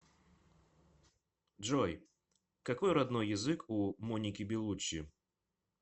джой какои роднои язык у моники белуччи